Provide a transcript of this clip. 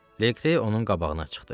Liqtey onun qabağına çıxdı.